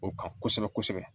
O kan kosɛbɛ kosɛbɛ